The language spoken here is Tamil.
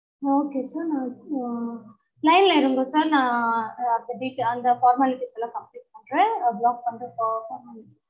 okay sir நா இப்போ line ல இருங்க sir நா அந்த detail அந்த formalities லாம் complete பண்றேன் block பண்ற